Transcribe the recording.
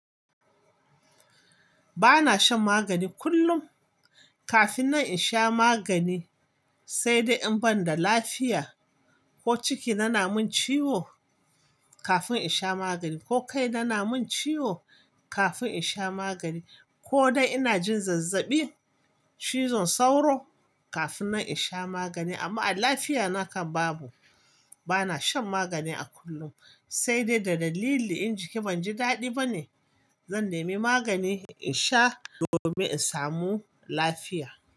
Ba na shan magani kullum kafin nan in sha magani sai dai in banda lafiya ko ciki na na mun ciwo kafin in sha magani ko kai na na mun ciwo kafin in sha magani ko dai ina jin zazzaɓi, cizon sauro kafin nan in sha magani amma a lafiya na kan babu. Ba na shan magani a kullum sai dai da dalili in jiki ban ji daɗi bane zan nemi magani in sha domin in samu lafiya.